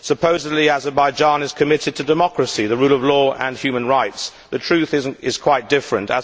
Supposedly, Azerbaijan is committed to democracy, the rule of law and human rights. The truth is quite different.